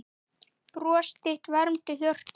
Bros þitt vermdi hjörtu.